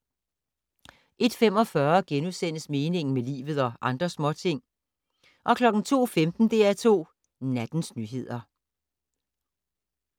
01:45: Meningen med livet - og andre småting (8:28)* 02:15: DR2 Nattens nyheder